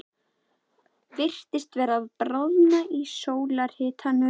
Virtist vera að bráðna í sólarhitanum.